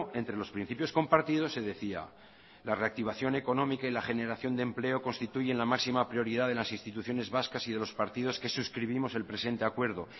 entre los principios compartidos se decía la reactivación económica y la generación de empleo constituyen la máxima prioridad de las instituciones vascas y de los partidos que suscribimos el presente acuerdo